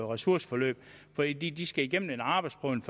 ressourceforløb fordi de først skal igennem en arbejdsprøvning